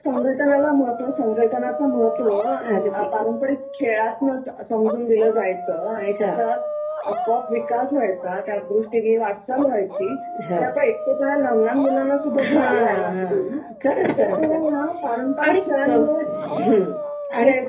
थोडक्यात संघटनाला महत्त्व, संघटनाचं महत्त्व पारंपरिक खेळातनच समजून दिलं जायचं आणि त्यातच आपोआप विकास व्हायचा. त्यादृष्टिनी वाटचाल व्हायची ते आता एकटेपणा लहान लहान मुलांना सुद्धा जाणवायला लागलाय खरच खरच खरच पारंपरिक खेळांमुळे